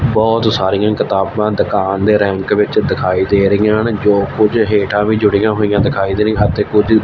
ਬਹੁਤ ਸਾਰੀਆਂ ਕਿਤਾਬਾਂ ਦੁਕਾਨ ਦੇ ਰੈਂਕ ਵਿੱਚ ਦਿਖਾਈ ਦੇ ਰਹੀਆਂ ਹਨ ਜੋ ਕੁਝ ਹੇਠਾਂ ਵੀ ਜੁੜੀਆਂ ਹੋਈਆਂ ਦਿਖਾਈ ਦੇ ਰਹੀ ਅਤੇ ਕੁਝ।